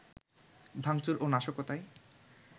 ভাঙচুর ও নাশকতায়